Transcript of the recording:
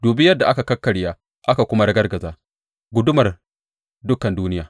Dubi yadda aka karya aka kuma ragargaza gudumar dukan duniya!